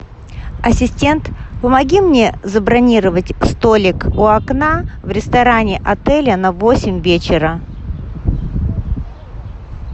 ассистент помоги мне забронировать столик у окна в ресторане отеля на восемь вечера